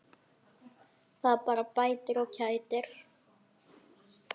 Það bara bætir og kætir.